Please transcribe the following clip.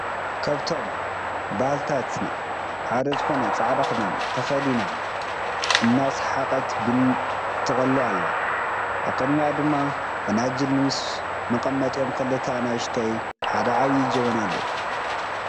ካብቶም ባህልታትና ሓደ ዝኮነ ፃዕዳ ክዳን ተከዲና እና ስሓቀት ቡና ትቀልውኣላ። ኣብ ቅድሚኣ ድማ ፈናጅል ምስ መቀመጢኦም ክልተ ኣናሽተይን ሓደ ዓቡይ ጀበና ኣሎ።